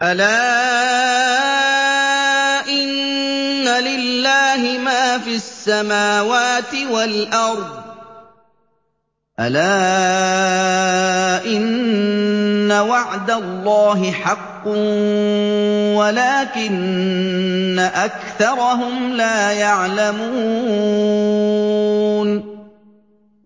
أَلَا إِنَّ لِلَّهِ مَا فِي السَّمَاوَاتِ وَالْأَرْضِ ۗ أَلَا إِنَّ وَعْدَ اللَّهِ حَقٌّ وَلَٰكِنَّ أَكْثَرَهُمْ لَا يَعْلَمُونَ